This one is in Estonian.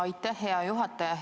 Aitäh, hea juhataja!